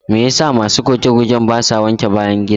Me yasa masu goge-gogen basa wanke bayan gida?